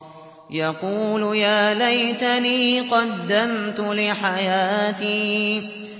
يَقُولُ يَا لَيْتَنِي قَدَّمْتُ لِحَيَاتِي